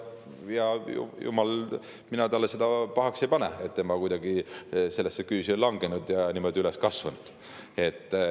Ja jumal, mina talle seda pahaks ei pane, et tema kuidagi selle küüsi on langenud ja niimoodi on üles kasvanud.